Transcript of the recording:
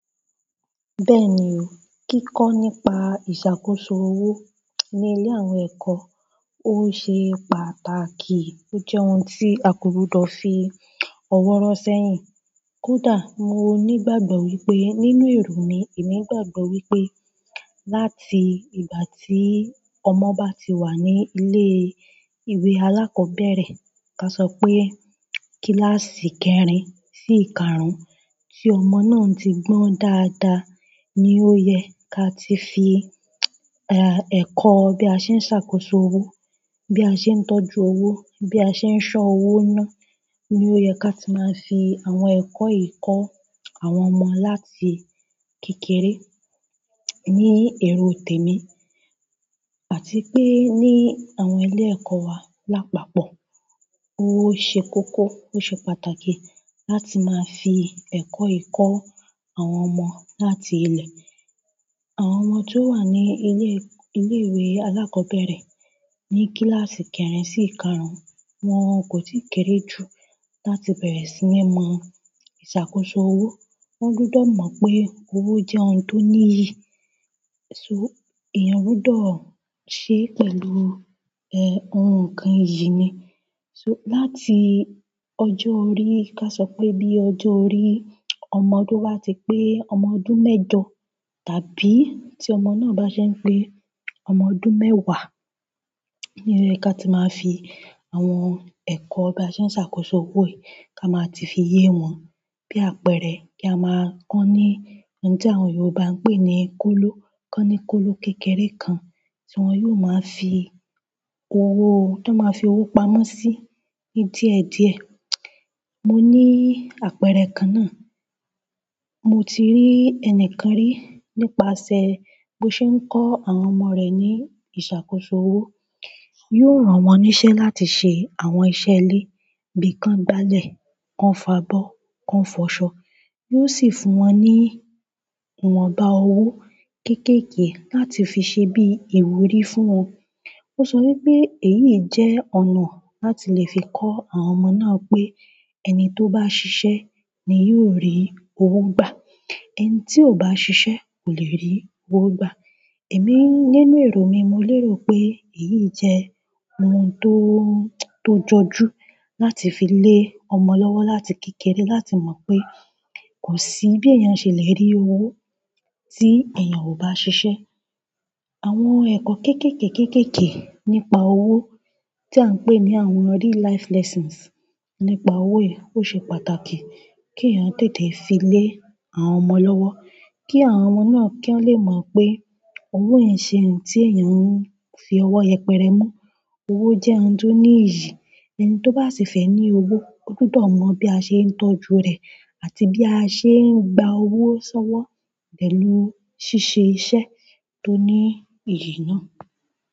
Bẹ́ẹ̀ ni o, kíkọ́ nípa ìṣàkóso owó ní ilé àwọn ẹ̀kọ́, ó ṣe pàtàkì. Ó jẹ́ ohun tí a ko gbudọ́ fi ọ̀wọ̀ ro sẹ́yìn. Kódà mo nígbàgbọ́ wípé nínú èrò mi, èmi gbàgbọ́ wípé láti ìgbà tí ọmọ bá ti wà ní ilé ìwé alákọ̀ọ́bẹ̀rẹ̀, ká sọ pé kíláàsì kẹ́rin sí ìkarun, tí ọmọ náà ti gbọ́n dáadáa ni ó yẹ ká ti fi, eh, ẹ̀kọ́ bí a ṣe ń ṣàkóso owó, bí a ṣe ń tọ́jú owó, bí a ṣe ń ṣọ́ owó ná. Ni ó yẹ ká ti máa fi àwọn ẹ̀kọ́ yìí kọ́ àwọn ọmọ láti kékeré. Ní èrò tèmi, àti pé ní àwọn ilé ẹ̀kọ́ wa lápapọ̀, ó ṣe kókó, ó ṣe pàtàkì láti máa fi ẹ̀kọ́ yìí kọ́ àwọ́n ọmọ láti ilé. Àwọn ọmọ tó wà ní ilé, ilé ìwé alákọ́bẹ̀rẹ̀ ní kíláàsì kẹrin sí ìkarun, wọ́n kò tí ì kéré ju láti bẹ̀rẹ̀ sí ní mọ ìṣàkóso owó. Wọ́n gbudọ̀ mọ̀ pé owó jẹ́ ohun tó ní yì. So, eeyan gbudọ̀ ṣe pẹ̀lú, eh, ohun kan iyì ni. So láti ọjọ́ orí, ká sọ pé bí ọjọ́ orí ọmọ tobá ti pé ọmọ ọdún mẹ́jọ tàbí tí ọmọ náà bá ṣe ń pé ọmọ ọdún mẹ́wàá, ni o yẹ ká ti máa fi àwọn ẹ̀kọ́ bí a ṣe ń ṣàkóso owó yìí ká máa ti fi yé wọn. Bí àpẹẹrẹ, kí a máa kọ́ ní ohun tí àwọn Yorùbá ń pè ní kóló, kọ́ni kólo kékeré kan tí wọ́n yóò máa fi owó, tí wọ́n máa fi owó pamọ́ sí ní díẹ̀ díẹ̀. Mo ní àpẹẹrẹ kan ná. Mo ti rí ẹnìkan rí nípasẹ̀ bó ṣe ń kọ́ àwọn ọmọ rẹ̀ ní ìṣàkóso owó. Yóò ran wọ́n níṣẹ́ láti ṣe àwọn iṣẹ́ ilé. Bí i kan gbálẹ̀, kan fo abọ́, kan fọ̀ ṣọ. Yóò sì fún wọ́n ní ìwọ̀nba owó kéékèèké láti fi ṣe bí ìwúrí fún wọn. Ó sọ wípé èyí jẹ́ ọ̀nà láti lè fi kọ́ àwọn ọmọ náà pé ẹni tó bá ṣiṣẹ́ ni yóò rí owó gbà. Ẹni tí ò bá ṣiṣẹ́ kò lè rí owó gbà. Èmi nínú èrò mi, mo lérò pé èyí jẹ́ ohun tó, tó jọjú láti fi lé ọmọ lọ́wọ́ láti kékeré láti mọ̀ pé kò sí bí èèyàn ṣe lè rí owó tí èèyàn ò bá ṣiṣẹ́. Àwọn ẹ̀kọ́ kéékèèké kéékèèké nípa owó tí à ń pè ní àwọn real life lessons nípa owó yìí ó ṣe pàtàkì kí èèyàn tètè fi lé àwọn ọmọ lọ́wọ́. Kí àwọn ọmọ náà kí wọ́n lè mọ̀ pé owó i ṣe ń tí èèyàn ń fi ọwọ́ yẹpẹrẹ mú. Owó jẹ́ ohun tó ní iyì. Ẹni tó bá sì fẹ́ ní owó, ó gbudọ̀ mọ̀ bí a ṣe ń tọ́jú rẹ̀ àti bí a ṣe ń gba owó sọ́wọ́ pẹ̀lú ṣíṣe iṣẹ́ tó ní iyì náà.